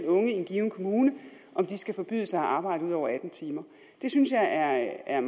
unge i en given kommune skal forbydes at arbejde ud over atten timer det synes jeg er